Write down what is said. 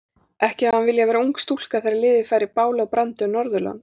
Ekki hefði hann viljað vera ung stúlka þegar liðið færi báli og brandi um Norðurland.